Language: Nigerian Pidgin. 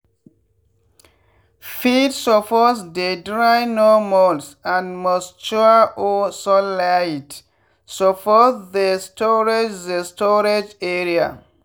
feed suppose dey dry no molds and moisture or sunlight suppose the storage the storage area.